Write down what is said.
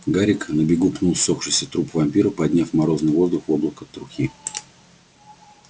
гарик на бегу пнул ссохшийся труп вампира подняв в морозный воздух облако трухи